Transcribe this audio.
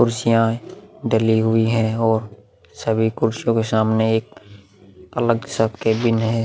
कुर्सियां डली हुई हैं और सभी कुर्सियां के सामने एक अलग सा केविन है।